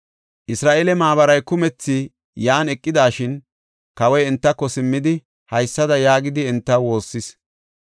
Isra7eele maabaray kumethi yan eqidashin, kawoy entako simmidi, haysada yaagidi entaw woossis.